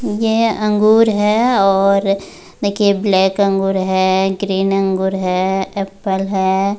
यह अंगूर है और देखिए ब्लैक अंगूर है ग्रीन अंगूर है एप्पल है।